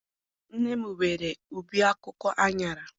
Nne m nwere ubi akwụkwọ aṅara.